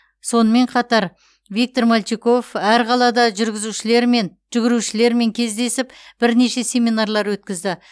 сонымен қатар виктор мальчиков әр қалада жүргізушілермен жүгірушілермен кездесіп бірнеше семинарлар өткізді